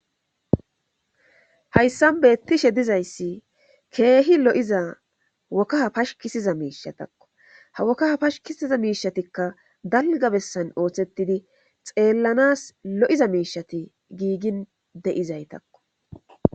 hayssan beettishe dizayssi keehi lo7iza wokkaha pashkisiza miishatakko ha wokkaha pashkisiza miishatikka dalga bessan ooththettidi xeellanas lo7iza miishati giigin de7izaytakko